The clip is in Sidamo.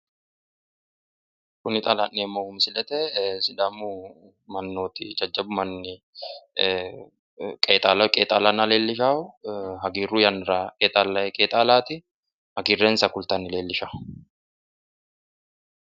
kuni xa la'neemmohu misilete sidaamu mannooti jajjabbu manni qeexaala qeexaalanna leellishaa hagiirru yannara qeexaallanni qeexaalaati. hagiirrensa kultanni leellisha.